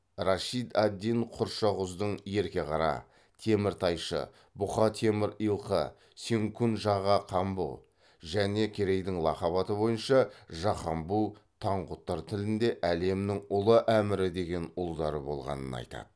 рашид ад дин құршағұздың ерке қара теміртайшы бұқа темір илқы сенкун жаға камбұ және керейдің лақап аты бойынша жақамбу таңғұттар тілінде әлемнің ұлы әмірі деген ұлдары болғанын айтады